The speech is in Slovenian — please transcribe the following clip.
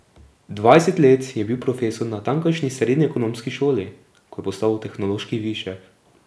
Dvajset let je bil profesor na tamkajšnji srednji ekonomski šoli, ko je postal tehnološki višek.